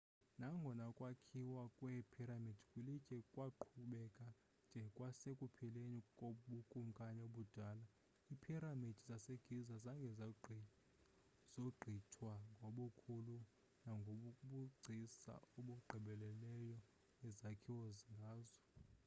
nangona ukwakhiwa kweephiramidi kwilitye kwaqhubeka de kwasekupheleni kobukumkani obudala iiphiramidi zasegiza zange zogqithwe ngobukhulu nangobugcisa obugqibeleleyo ezakhiwa ngazo